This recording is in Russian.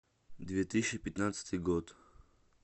две тысячи пятнадцатый год